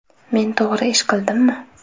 Men to‘g‘ri ish qildimmi?